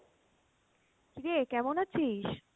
কীরে কেমন আছিস?